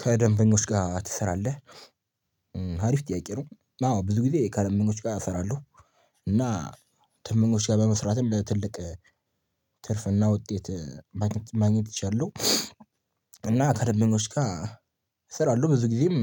ከደንበኞች ጋር ትሰራለህ ሀሪፍ ጥያቄ? ነው አዎ ብዙ ጊዜ ከደንበኞች ጋር እሰራለሁ። እና ደንበኞች ጋር በመስራትም ለትልቅ ትርፍና ውጤት ማግኘት እችላለሁ። እና ከደንበኞች ጋር እስራለሁ ብዙ ጊዜም